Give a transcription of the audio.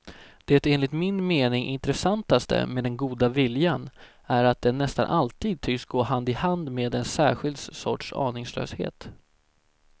Det enligt min mening intressantaste med den goda viljan är att den nästan alltid tycks gå hand i hand med en särskild sorts aningslöshet.